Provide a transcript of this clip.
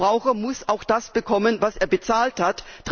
Der Verbraucher muss auch das bekommen, was er bezahlt hat.